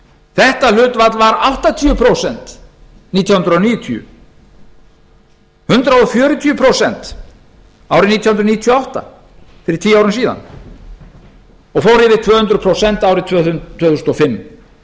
þetta hlutfall var áttatíu prósent árið nítján hundruð níutíu hundrað fjörutíu prósent árið nítján hundruð níutíu og átta fyrir tíu árum síðan og fór yfir tvö hundruð prósent árið tvö þúsund og fimm